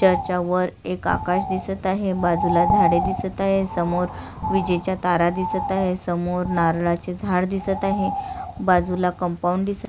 त्याच्यावर एक आकाश दिसत आहे बाजूला झाड दिसत आहे समोर विजेच्या तारा दिसत आहे समोर नारळाचे झाड दिसत आहे बाजूला कंपाऊंड दिसत--